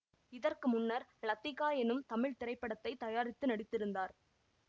இதற்கு முன்னர் லத்திக்கா எனும் தமிழ்த்திரைப்படத்தை தயாரித்து நடித்திருந்தார்